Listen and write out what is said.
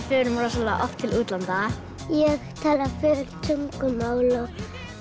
förum rosalega oft til útlanda ég tala fjögur tungumál